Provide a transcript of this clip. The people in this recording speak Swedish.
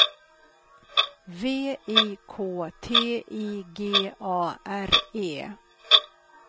V I K T I G A R E